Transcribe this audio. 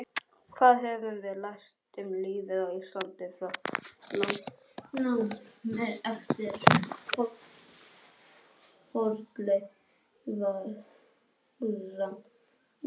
Hvað höfum við lært um lífið á Íslandi frá landnámi eftir fornleifarannsóknir undanfarinna ára?